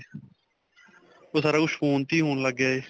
ਓਹ ਸਾਰਾ ਕੁੱਝ phone ਤੇ ਹੀ ਹੋਣ ਲੱਗ ਗਿਆ ਹੈ.